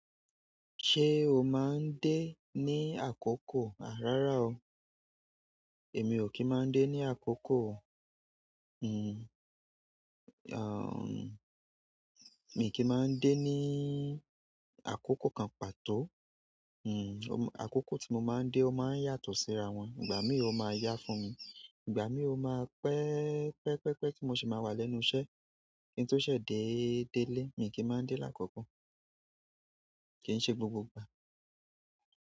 Se o maa n de ni akoko? A rara oo. Èmi ò kí ń máa ń dé ní àkókò, hm, aah, mi kì í máa ń dé níí àkókò kan pàtó. Hm, àkókò tí mo máa ń dé ó máa ń yàtọ̀ sí ara wọn. Ìgbà mií o máa yá fún mi, ìgbà mií o máa pẹ́, pẹ́, pẹ́, pẹ́ tí mo sì máa wà lẹ́nu iṣẹ́. Ki n to ṣẹ̀ dé, dé lẹ́, èmi kì í máa ń dé lákòókò kí ń ṣe gbogbo ìgbà.